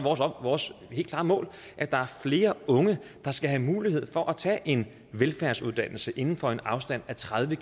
vores helt klare mål at der er flere unge der skal have mulighed for at tage en velfærdsuddannelse inden for en afstand af tredive